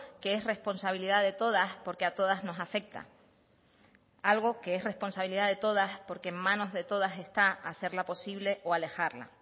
que es responsabilidad de todas porque a todas nos afecta algo que es responsabilidad de todas porque en manos de todas está hacerla posible o alejarla